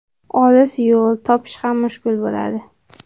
Olis yo‘l, topish ham mushkul bo‘ladi.